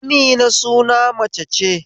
Amina suna mace ce